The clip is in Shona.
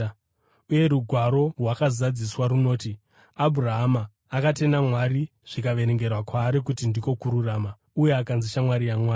Uye Rugwaro rwakazadziswa runoti, “Abhurahama akatenda Mwari zvikaverengerwa kwaari kuti ndiko kururama,” uye akanzi shamwari yaMwari.